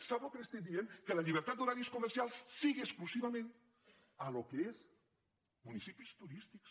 sap el que li estic dient que la llibertat d’horaris comercials sigui exclusivament en el que són municipis turístics